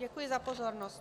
Děkuji za pozornost.